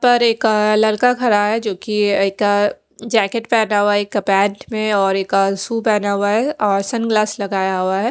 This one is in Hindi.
पर एक लड़का खड़ा है जोकि एक जेकेट पहना हुआ है एक पेंट में और एक सु पहना हुआ है और सन ग्लास लगाया हुआ है।